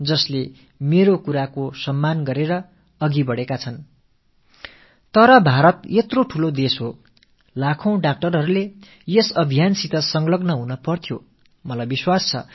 ஆயிரக்கணக்கான மருத்துவர்கள் என் விண்ணப்பத்துக்கு செவிசாய்த்து செயல்படுத்தியும் வருகிறார்கள் ஆனால் பாரதம் மிகப் பெரிய தேசம் இந்த இயக்கத்தில் இலட்சக்கணக்கான மருத்துவர்கள் தங்களை இணைத்துக் கொள்ள வேண்டும்